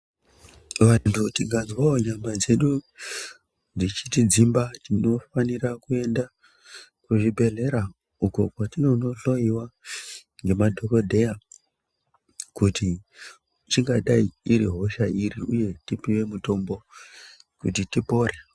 Vantu tikazwawo nyama dzedu dzechitidzimba tinofanira kuende kuzvibhedhleya uko kwatinonohloyiwa ngemadhokodheya kuti ingadai iri hosha iri uye tipiwe mutombo kuti tipore.